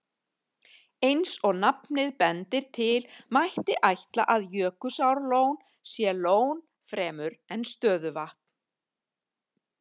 Eins og nafnið bendir til, mætti ætla að Jökulsárlón sé lón fremur en stöðuvatn.